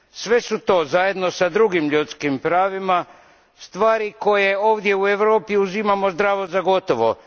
Sve su to, zajedno sa drugim ljudskim pravima, stvari koje ovdje u Europi uzimamo zdravo za gotovo.